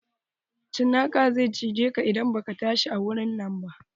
Cinaka zai cijeka idan baka tashi a wurin nan ba.